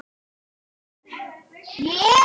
Staða efstu manna